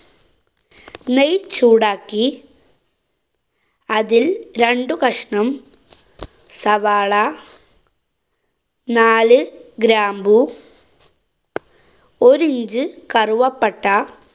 നെയ്‌ ചൂടാക്കി അതില്‍ രണ്ടു കഷ്ണം സവാള നാല് ഗ്രാമ്പു, ഒരി inch കറുവപ്പട്ട.